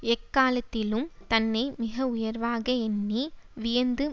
எக்காலத்திலும் தன்னை மிக உயர்வாக எண்ணி வியந்து